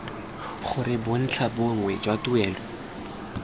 gore bontlha bongwe jwa tuelo